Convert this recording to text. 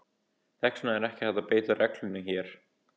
Þess vegna er ekki hægt að beita reglunni hér.